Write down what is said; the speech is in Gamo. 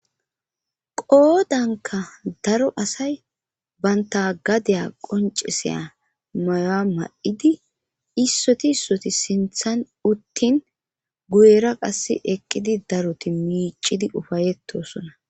qoodanka daro asay banta gadeya qonceseya maya ma7idi issoti issoti sinthan uttin guyera qass eqqidi daroti miicidi ufayettosona